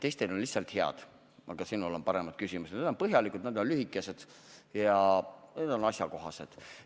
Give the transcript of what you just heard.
Teistel on lihtsalt head, aga sinu küsimused on paremad, need on põhjalikud, lühikesed ja asjakohased.